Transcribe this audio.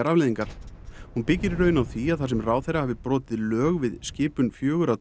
afleiðingar hún byggir í raun á því að þar sem ráðherra hafi brotið lög við skipan fjögurra